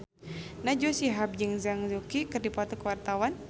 Najwa Shihab jeung Zhang Yuqi keur dipoto ku wartawan